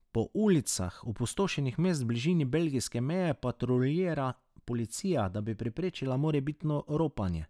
Po ulicah opustošenih mest v bližini belgijske meje patruljira policija, da bi preprečila morebitno ropanje.